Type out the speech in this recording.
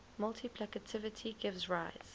multiplicativity gives rise